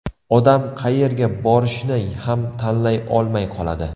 Odam qayerga borishni ham tanlay olmay qoladi.